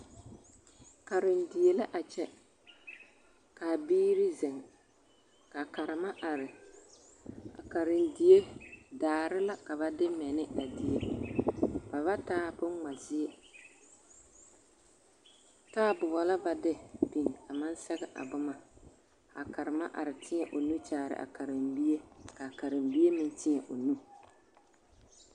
Karendie la a kyɛ k,a biiri zeŋ ka karema are a karendie daare la ka ba de mɛ ne a die ba ba taa bonŋma zie taaboɔ la ba de biŋ a maŋ sɛge a boma a karema are teɛ o nu kyaare a karenbie k a karenbie meŋ teɛ o nu.